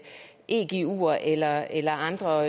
eguer eller eller andre